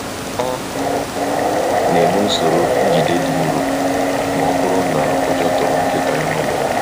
Ọ na-eme usoro njide dị nro ma ọ bụrụ na ụjọ tụrụ nkịta ya n'ụlọọgwụ.